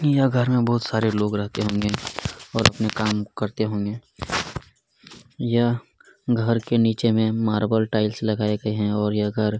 यह घर में बहुत सारे लोग रहते होंगे और अपने काम करते होंगे यह घर के नीचे मे मार्बल टाइल्स लगाये गए है और यह घर--